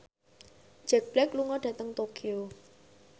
Jack Black lunga dhateng Tokyo